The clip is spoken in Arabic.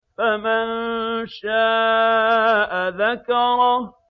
فَمَن شَاءَ ذَكَرَهُ